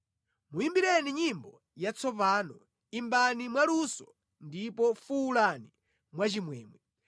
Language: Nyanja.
Muyimbireni nyimbo yatsopano; imbani mwaluso, ndipo fuwulani mwachimwemwe.